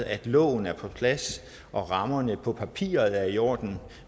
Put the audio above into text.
at loven er på plads og rammerne på papiret er i orden